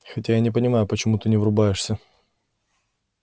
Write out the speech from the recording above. хотя я не понимаю почему ты не врубаешься